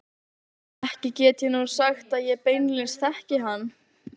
Ekki get ég nú sagt ég beinlínis þekki hann.